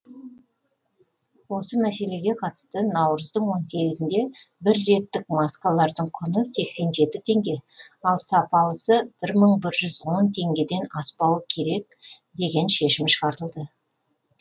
осы мәселеге қатысты наурыздың он сегізінде бір реттік маскалардың құны сексен жеті теңге ал сапалысы жүз он бір теңгеден аспауы керек деген шешім шығарылды